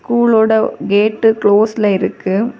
School ஓட gate குளோஸ்ல இருக்கு.